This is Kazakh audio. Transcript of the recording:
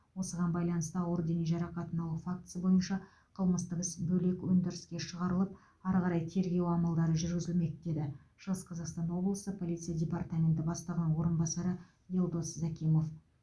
осыған байланысты ауыр дене жарақатын алу фактісі бойынша қылмыстық іс бөлек өндіріске шығарылып ары қарай тергеу амалдары жүргізілмек деді шығыс қазақстан облысы полиция департаменті бастығының орынбасары елдос закимов